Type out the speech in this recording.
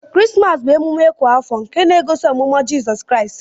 Krismas bu emume kwa afọ nke na egosi ọmụmụ jisọs kraist.